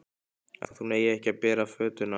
Að hún eigi ekki að bera fötuna.